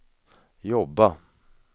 jobba